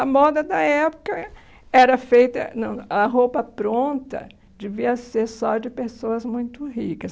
A moda da época era feita... não, A roupa pronta devia ser só de pessoas muito ricas.